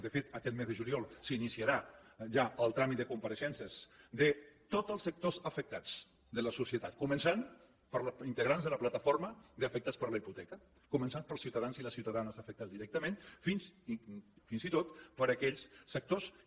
de fet aquest mes de juliol s’iniciarà ja el tràmit de compareixences de tots els sectors afectats de la societat començant pels integrants de la plataforma d’afectats per la hipoteca començant pels ciutadans i les ciutadanes afectats directament fins i tot per aquells sectors que